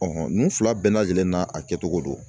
ninnu fila bɛɛ lajɛlen n'a a kɛcogo don.